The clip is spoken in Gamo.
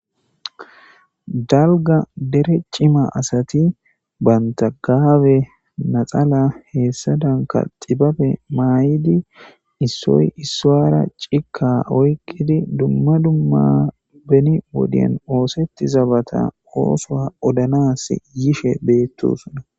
dalga dere cima asati banta gaabe naxala heessa danka xibabe maay7idi issoy issoara cika oyqidi dumma dumma beni woden oosetti zabata oosoa odanas yishe beettosuna